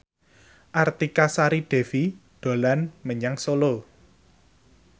Artika Sari Devi dolan menyang Solo